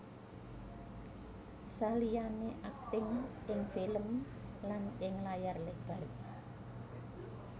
Saliyane akting ing film lan ing layar lebar